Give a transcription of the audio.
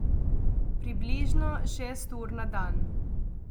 Približno šest ur na dan.